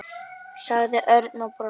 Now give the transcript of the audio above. sagði Örn og brosti.